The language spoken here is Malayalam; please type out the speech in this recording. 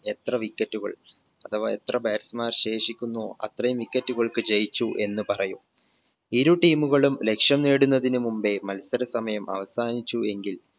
എത്ര wicket റ്റുകൾ അഥവാ എത്ര batsman ശേഷിക്കുന്നു അത്രയും wicket റ്റുകൾക്ക് ജയിച്ചു എന്ന് പറയും ഇരു team മുകളും ലക്ഷ്യം നേടുന്നതിന് മുമ്പേ മത്സര സമയം അവസാനിച്ചു എങ്കിൽ